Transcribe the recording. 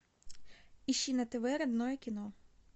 ищи на тв родное кино